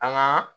An ka